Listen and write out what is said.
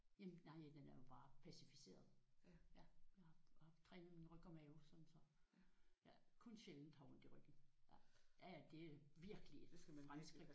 Jamen nej den er jo bare pacificeret. Træner min ryg og mave sådan så jeg kun sjældent har ondt i ryggen. Ja ja det er virkelig et fremskridt